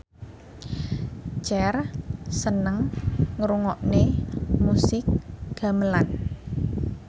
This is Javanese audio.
Cher seneng ngrungokne musik gamelan